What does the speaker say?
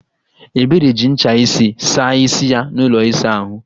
Ebere ji ncha isi saa isi ya n'ụlọ ịsa ahụ